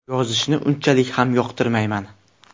Yozishni unchalik ham yoqtirmayman.